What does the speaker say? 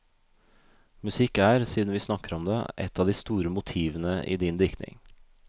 Musikk er, siden vi snakker om det, et av de store motivene i din diktning.